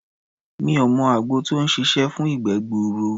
Mi ò mọ àgbo tó ń ṣiṣé fún ìgbẹ́ gbuuru.